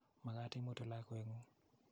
Makat imutu lakwet ng'ung'.